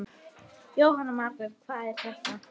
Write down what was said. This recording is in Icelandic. Jóhanna Margrét: Hvað er þetta?